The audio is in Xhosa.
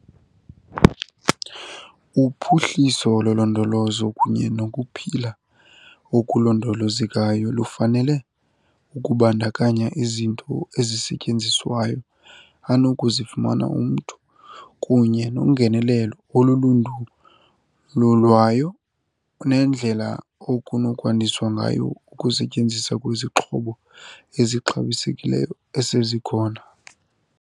Uphuhliso lolondolozo kunye nokuphila okulondolozekayo lufanele ukubandakanya izinto ezisetyenziswayo anokuzifumana umntu kunye nongenelelo olundululwayo, nendlela okunokwandiswa ngayo ukusetyenziswa kwezixhobo ezixabisekileyo esezikhona.